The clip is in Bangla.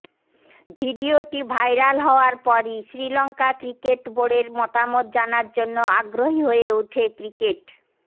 ভিডিওটি ভাইরাল হওয়ার পরই শ্রীলঙ্কা ক্রিকেট বোর্ডের মতমত জানার জন্য আগ্রহী হয়ে ওঠে ক্রিকেট